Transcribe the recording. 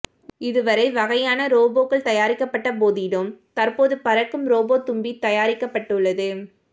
இதுவரை வகையான ரோபேக்கள் உருவாக்கப்பட்ட போதிலும் தற்போது பறக்கும் ரோபோ தும்பி தயாரிக்கப்பட்டுள்ளது